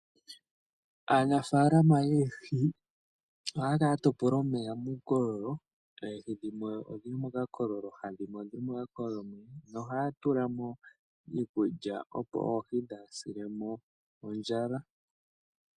Aanafaalama yoohi oha ya kala ya topola omeya muukololo. Oohi dhimwe odhili mokakolo kamwe noonkwawo odhili mu kamwe ki ili. Oha yedhi tulile mo iikulya opo kaadhi silemo ondjala.